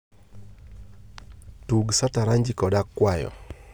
tug sataranji koda akwayo